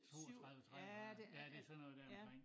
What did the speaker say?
32 33 ja det sådan noget dér omkring